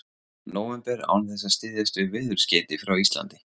nóvember án þess að styðjast við veðurskeyti frá Íslandi.